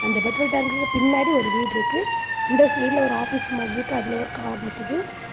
அந்த பெட்ரோல் டேங்குக்கு பின்னாடி ஒரு வீடுருக்கு. இந்த சைட்ல ஒரு ஆபீஸ் மாதிரி இருக்கு. அதுல ஒரு கார் நிக்குது.